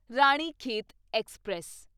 Ranikhet express